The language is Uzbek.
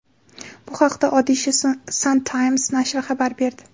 Bu haqda Odisha Sun Times nashri xabar berdi .